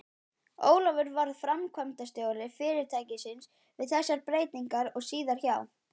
Ólafur varð framkvæmdastjóri fyrirtækisins við þessar breytingar og síðar hjá